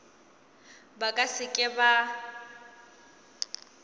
ba ka se ke ba